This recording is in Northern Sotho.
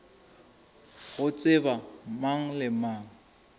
go tseba mang le mang